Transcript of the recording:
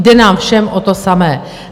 Jde nám všem o to samé.